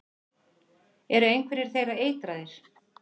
Eru einhverjir þeirra eitraðir?